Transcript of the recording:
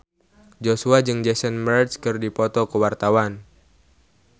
Joshua jeung Jason Mraz keur dipoto ku wartawan